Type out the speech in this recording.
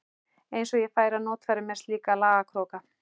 Eins og ég færi að notfæra mér slíka lagakróka.